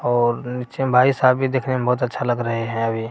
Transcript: और नीचे में भाई साहब भी देखने में बहुत अच्छा लग रहें हैं अभी।